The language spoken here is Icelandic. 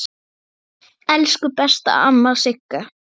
Elsku besta amma Sigga.